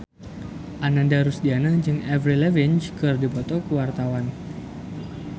Ananda Rusdiana jeung Avril Lavigne keur dipoto ku wartawan